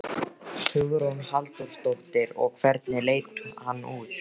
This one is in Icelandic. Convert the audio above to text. Hugrún Halldórsdóttir: Og hvernig leit hann út?